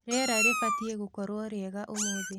rĩera ribatĩe gũkorwo riega ũmũthĩ